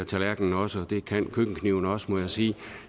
tallerken også og det kan køkkenkniven også må jeg sige